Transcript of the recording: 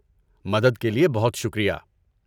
مدد کے لیے بہت شکریہ۔